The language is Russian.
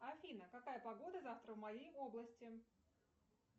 афина какая погода завтра в моей области